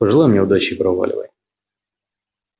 пожелай мне удачи и проваливай